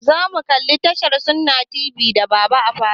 Zamu kalla tashar sunna tv da baba a falo.